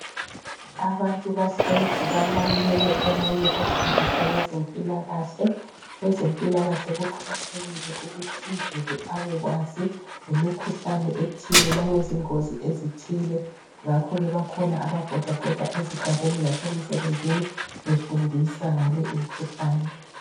Abantu bahlezi balalele omunye ofundisa ngezempilakahle. Kwezempilakahle kuqakathekile ukuthi uzulu abekwazi ngemikhuhlane ethile langezingozi ezithile. Ngakho ke bakhona ababhodabhoda ezigabeni lasemisebenzini befundisa ngale imikhuhlane.